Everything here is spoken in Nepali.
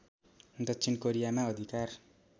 दक्षिण कोरियामा अधिकार